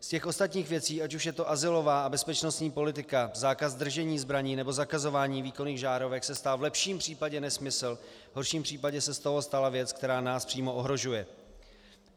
Z těch ostatních věcí, ať už je to azylová a bezpečnostní politika, zákaz držení zbraní, nebo zakazování výkonných žárovek, se stal v lepším případě nesmysl, v horším případě se z toho stala věc, která nás přímo ohrožuje.